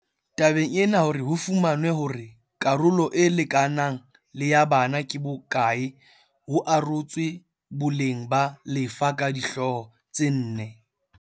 Tabeng ena hore ho fumanwe hore karolo e lekanang le ya bana ke bo kae ho arotswe boleng ba lefa ka dihlooho tse nne